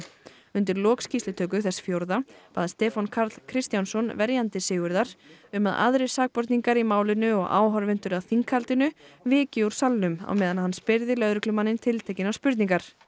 undir lok skýrslutöku þess fjórða bað Stefán Karl Kristjánsson verjandi Sigurðar um að aðrir sakborningar í málinu og áhorfendur að þinghaldinu vikju úr salnum á meðan hann spyrði lögreglumanninn tiltekinnar spurningar